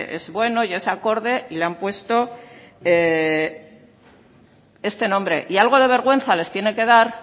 es bueno y es acorde y le han puesto este nombre y algo de vergüenza les tiene que dar